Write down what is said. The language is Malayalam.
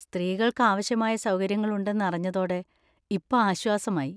സ്ത്രീകൾക്ക് ആവശ്യമായ സൗകര്യങ്ങൾ ഉണ്ടെന്ന് അറിഞ്ഞതോടെ ഇപ്പൊ ആശ്വാസമായി.